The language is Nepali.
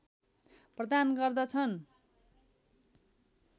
प्रदान गर्दछन्